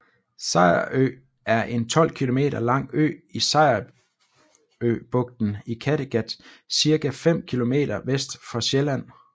Sejerø er en 12 kilometer lang ø i Sejerøbugten i Kattegat cirka 5 kilometer vest for Sjælland